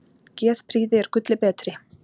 Geðprýði er gulli betri.